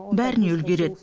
бәріне үлгереді